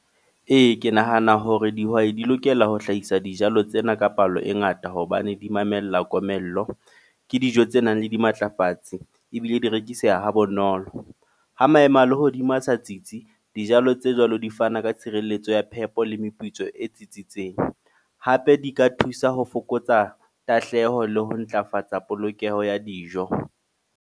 Ee, ke nahana hore dihwai di lokela ho hlahisa dijalo tsena ka palo e ngata. Hobane di mamella komello. Ke dijo tse nang le dimatlafatse, ebile di rekiseha ha bonolo. Ha maemo a lehodimo a sa tsitsi, dijalo tse jwalo di fana ka tshireletso ya phepo le meputso e tsitsitseng. Hape di ka thusa ho fokotsa tahleho le ho ntlafatsa polokeho ya dijo.